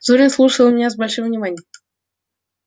зурин слушал меня с большим вниманием